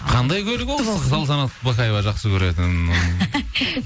қандай көлік ол салтанат бақаева жақсы көретін